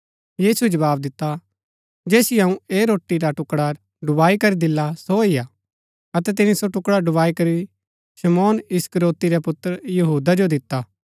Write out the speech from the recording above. यीशुऐ जवाव दिता जैसियो अऊँ ऐह रोटी रा टुकडा डुबाई करी दिला सो ही हा अतै तिनी सो टुकडा डुबाई करी शमौन इस्करियोती रै पुत्र यहूदा जो दिता